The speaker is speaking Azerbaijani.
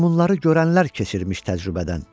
Meymunları görənlər keçirmiş təcrübədən.